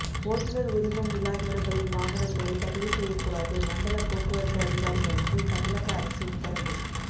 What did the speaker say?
ஓட்டுனர் உரிமம் இல்லாதவர்களின் வாகனங்களை பதிவு செய்யக்கூடாது மண்டல போக்குவரத்து அதிகாரிகளுக்கு தமிழக அரசு உத்தரவு